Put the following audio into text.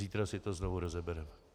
Zítra si to znovu rozebereme.